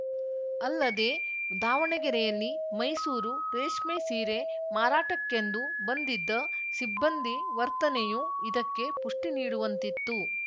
ಅಲ್ಲದೇ ದಾವಣಗೆರೆಯಲ್ಲಿ ಮೈಸೂರು ರೇಷ್ಮೆ ಸೀರೆ ಮಾರಾಟಕ್ಕೆಂದು ಬಂದಿದ್ದ ಸಿಬ್ಬಂದಿ ವರ್ತನೆಯೂ ಇದಕ್ಕೆ ಪುಷ್ಟಿನೀಡುವಂತಿತ್ತು